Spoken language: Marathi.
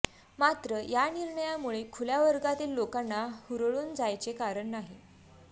मात्र या निर्णयामुळे खुल्या वर्गातील लोकांनी हुरळून जायचे कारण नाही